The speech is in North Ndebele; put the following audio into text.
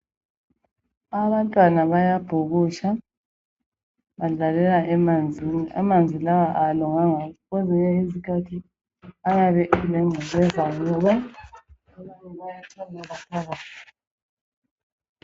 Abantwana bayabhukutsha ,badlalela emanzini. Amanzi lawa awalunganga kwezinye izikhathi ayabe elengcekeza ngoba abantu baayachamela phakathi.